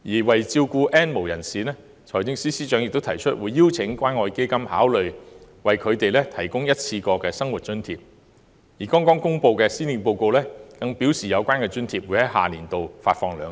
為照顧 "N 無人士"，財政司司長亦提出邀請關愛基金考慮為他們提供一次過生活津貼，而剛公布的施政報告更表示有關津貼會於下年度發放兩次。